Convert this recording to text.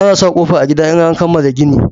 Ana sa ƙofa a gida in an kamala gini